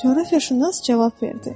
Coğrafiyaşünas cavab verdi.